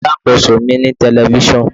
Alákóso mi ní telifíṣàn.